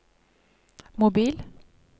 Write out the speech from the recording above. mobil